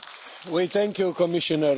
We thank you Commissioner.